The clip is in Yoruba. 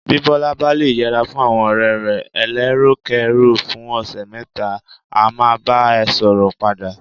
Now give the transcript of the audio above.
Bí Bọ́lá bá le yẹra fún àwọn ọ̀rẹ́ rẹ̀ eléròkérò fún ọ̀sẹ̀ mẹ́ta, á máa bá a ṣọ̀rẹ́ padà.